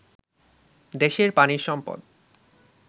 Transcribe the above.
দেশের পানির সম্পদ